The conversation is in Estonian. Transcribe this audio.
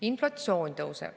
Inflatsioon tõuseb.